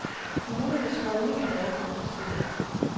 Kommunernes holdning er dog kompliceret.